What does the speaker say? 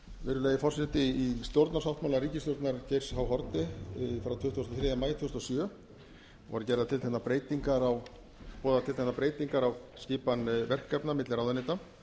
virðulegi forseti í stjórnarsáttmála ríkisstjórnar geirs h haarde frá tuttugasta og þriðja maí tvö þúsund og sjö voru boðaðar tilteknar breytingar á skipan verkefna á milli ráðuneyta